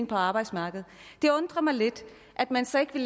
på arbejdsmarkedet det undrer mig lidt at man så ikke vil